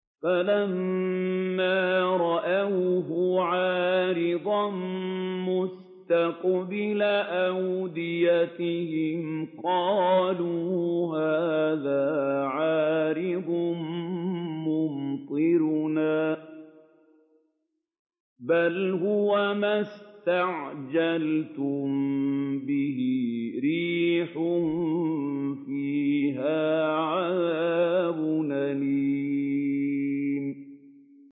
فَلَمَّا رَأَوْهُ عَارِضًا مُّسْتَقْبِلَ أَوْدِيَتِهِمْ قَالُوا هَٰذَا عَارِضٌ مُّمْطِرُنَا ۚ بَلْ هُوَ مَا اسْتَعْجَلْتُم بِهِ ۖ رِيحٌ فِيهَا عَذَابٌ أَلِيمٌ